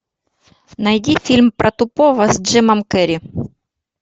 найди фильм про тупого с джимом керри